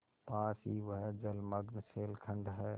पास ही वह जलमग्न शैलखंड है